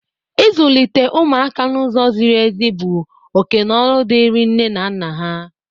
Izulite ụmụaka n'ụzọ zịrị ezi bụ oke na ọlụ dịri nne na nna ha.